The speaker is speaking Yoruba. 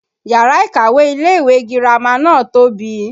Yàrá ìkàwé ilé ìwé girama náà tóbi